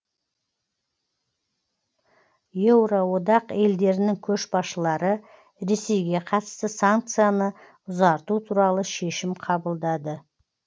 еуроодақ елдерінің көшбасшылары ресейге қатысты санкцияны ұзарту туралы шешім қабылдады